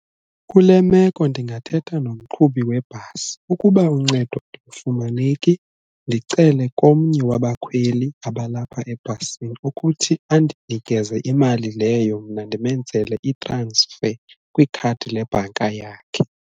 Kule meko ndingathetha nomqhubi webhasi ukuba uncedo alufumaneki ndicele komnye wabakhweli abalapha ebhasini ukuthi andinikeze imali leyo mna ndimenzele i-transfer kwikhadi lebhanka yakhe.